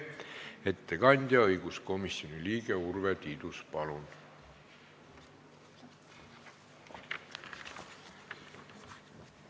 Ettekandja õiguskomisjoni liige Urve Tiidus, palun!